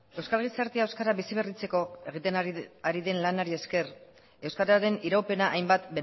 euskal gizartea euskara bizi berritzeko egiten ari den lanari esker euskararen iraupena hainbat